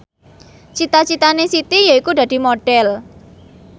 cita citane Siti yaiku dadi Modhel